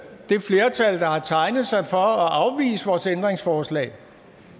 det flertal der har tegnet sig for at afvise vores ændringsforslag